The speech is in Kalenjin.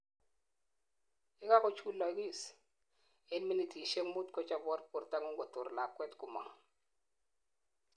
yekagochulogis en minitisiek muut, kochobot bortangung Kotor lakwet komong